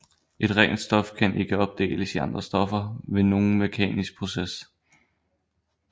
Et rent stof kan ikke opdeles i andre stoffer ved nogen mekanisk proces